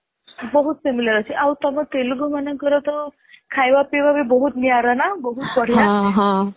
ବହୁତ similar ଅଛି ଆଉ ତମ ତେଲୁଗୁ ମାନଙ୍କର ତ ଖାଇବା ପିଇବା ତ ବହୁତ ନିଆରା ନା ବହୁତ ବଢିଆ